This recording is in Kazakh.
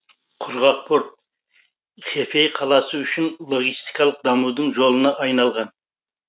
құрғақ порт хэфэй қаласы үшін логистикалық дамудың жолына айналған